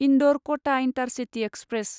इन्दौर क'टा intercity express